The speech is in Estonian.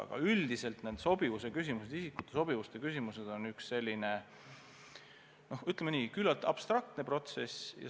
Aga üldiselt need isikute ametisse sobivuse küsimused on sellised, ütleme nii, küllalt abstraktsed.